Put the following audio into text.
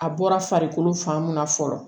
A bɔra farikolo fan mun na fɔlɔ